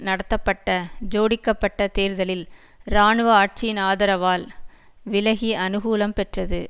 நடத்தப்பட்ட ஜோடிக்கப்பட்ட தேர்தலில் இராணுவ ஆட்சியின் ஆதரவால் விலகி அனுகூலம் பெற்றது